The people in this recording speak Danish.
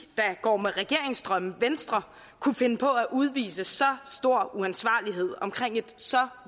der går med regeringsdrømme venstre kunne finde på at udvise så stor uansvarlighed omkring et så